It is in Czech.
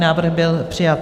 Návrh byl přijat.